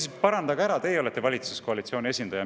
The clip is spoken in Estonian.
Siis parandage see ära, teie olete valitsuskoalitsiooni esindaja.